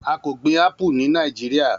A ko gbin apu ni Niajiria.